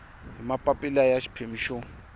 hi mapapila ya xiphemu xo